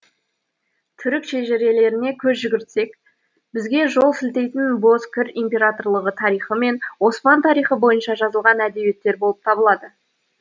түрік шежірелеріне көз жүгіртсек бізге жол сілтейтін бозкір императорлығы тарихы мен осман тарихы бойынша жазылған әдебиеттер болып табылады